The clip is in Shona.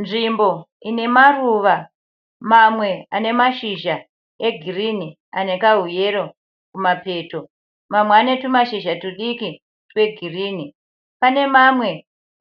Nzvimbo ine maruva mamwe ane mazhizha egirini anekahuyero kumapeto. Mamwe ane tumashizha tudiki twegirini. Pane mamwe